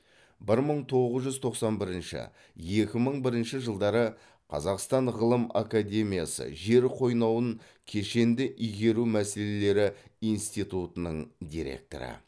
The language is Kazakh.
бір мың тоғыз жүз тоқсан бірінші екі мың бірінші жылдары қазақстан ғылым академиясы жер қойнауын кешенді игеру мәселелері институтының директоры